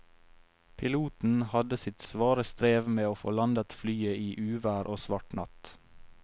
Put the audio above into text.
Piloten hadde sitt svare strev med å få landet flyet i uvær og svart natt.